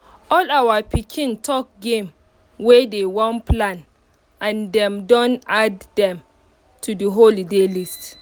all our pikin talk game wey dey wan plan and dem don add dem to the holiday list